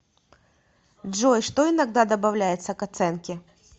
джой что иногда добавляется к оценке